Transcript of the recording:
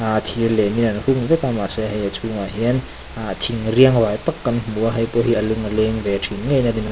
ah thir lian an hung vek a mahse hei a chhungah hian ah thir riangvai tak kan hmu a heipawh hi a lung a leng ve thin ngeiin a rinawm--